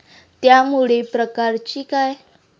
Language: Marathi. त्यामुळे प्रकारची काय?